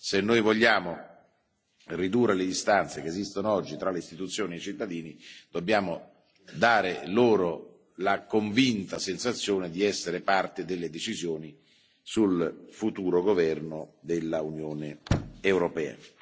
Se vogliamo ridurre le distanze che esistono oggi tra le istituzioni e i cittadini, dobbiamo dare loro la convinta sensazione di essere parte delle decisioni sul futuro governo dell'Unione europea.